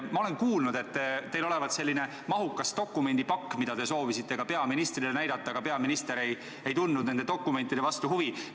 Ma olen kuulnud, et teil olevat mahukas dokumendipakk, mida te soovisite ka peaministrile näidata, aga peaminister ei tundnud nende dokumentide vastu huvi.